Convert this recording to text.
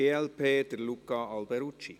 Ich schaue zurück: